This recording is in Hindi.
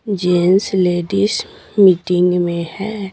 जेंस लेडीज मीटिंग में है।